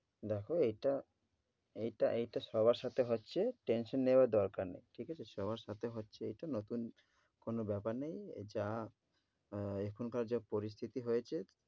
দেখ এটা এটা এটা সবার সাথে হচ্ছে tension নেওয়ার দরকার নেই, ঠিক আছে? সবার সাথে হচ্ছে এইটা নতুন কোন ব্যাপার নেই যা আহ এখনকার যা পরিস্থিতি হয়েছে